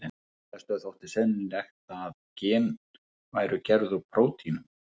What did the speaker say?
Flestum þótti sennilegt að gen væru gerð úr prótínum.